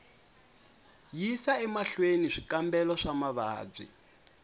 yisa emahlweni swikambelo swa mavabyi